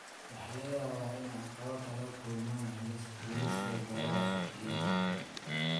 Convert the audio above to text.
Waxaa laga yaabaa inay caqabado kala kulmaan helista goobo suuqgeyneed.